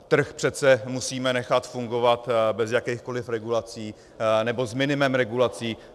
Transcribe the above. Trh přece musíme nechat fungovat bez jakýchkoli regulací nebo s minimem regulací.